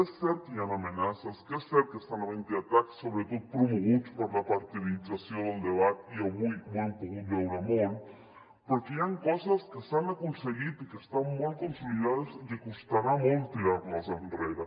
és cert que hi han amenaces és cert que estan havent hi atacs sobretot promoguts per la partidització del debat i avui ho hem pogut veure molt però hi han coses que s’han aconseguit i que estan molt consolidades i que costarà molt tirar les enrere